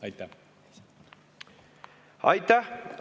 Aitäh!